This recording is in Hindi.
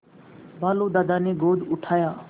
भालू दादा ने गोद उठाया